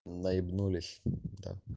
на ебнулись да